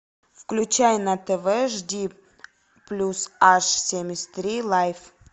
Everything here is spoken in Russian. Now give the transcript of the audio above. включай на тв жди плюс аш семьдесят три лайф